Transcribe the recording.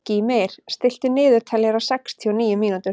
Gýmir, stilltu niðurteljara á sextíu og níu mínútur.